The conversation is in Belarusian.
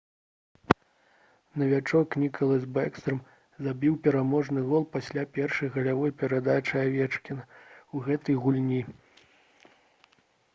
навічок ніклас бэкстрам забіў пераможны гол пасля першай галявой перадачы авечкіна ў гэтай гульні